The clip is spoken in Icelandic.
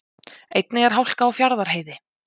Einnig er hálka á Fjarðarheiði